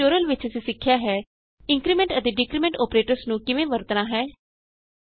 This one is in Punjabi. ਇਸ ਟਯੂਟੋਰਿਅਲ ਵਿਚ ਅਸੀਂ ਸਿੱਖਿਆ ਹੈ ਇੰਕਰੀਮੈਂਟ ਅਤੇ ਡਿਕਰੀਮੈਂਟ ਅੋਪਰੇਟਰਸ ਨੂੰ ਕਿਵੇਂ ਵਰਤਨਾ ਹੈ